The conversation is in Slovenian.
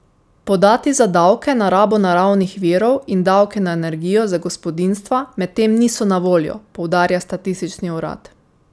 Podatki za davke na rabo naravnih virov in davke na energijo za gospodinjstva medtem niso na voljo, poudarja statistični urad.